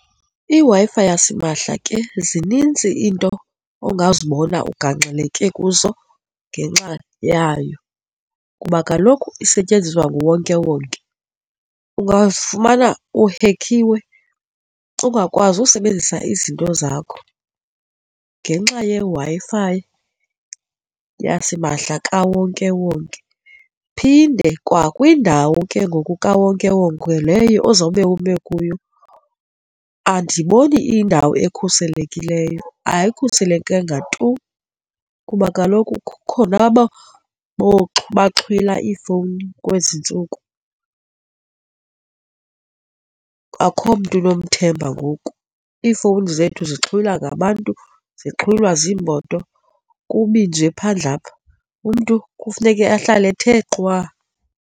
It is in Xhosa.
IWi-Fi yasimahla ke zinintsi iinto ongazibona ugangxeleke kuzo ngenxa yayo kuba kaloku isetyenziswa nguwonkewonke, ungafumana uhekhiwe, ungakwazi usebenzisa izinto zakho ngenxa yeWi-Fi yasimahla kawonkewonke. Phinde kwakwindawo ke ngoku kawonkewonke leyo ozawube ume kuyo andiboni iyindawo ekhuselekileyo, ayikhuselekanga tu kuba kaloku kukhona aba abaxhwila iifowuni kwezi ntsuku, akukho mntu unomthemba ngoku, iifowuni zethu zixhwilwa ngabantu zixhulwa ziimoto. Kubi nje phandle apha, umntu kufuneke ahlale ethe qwa.